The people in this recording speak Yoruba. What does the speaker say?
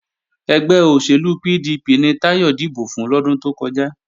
Ẹgbẹ́ òṣèlú PDP ni Táyọ̀ dìbò fún lọ́dún tó kọjá